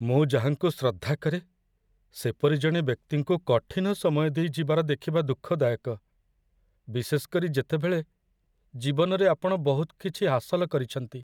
ମୁଁ ଯାହାଙ୍କୁ ଶ୍ରଦ୍ଧା କରେ, ସେପରି ଜଣେ ବ୍ୟକ୍ତିଙ୍କୁ କଠିନ ସମୟ ଦେଇ ଯିବାର ଦେଖିବା ଦୁଃଖଦାୟକ, ବିଶେଷ କରି ଯେତେବେଳେ ଜୀବନରେ ଆପଣ ବହୁତ କିଛି ହାସଲ କରିଛନ୍ତି।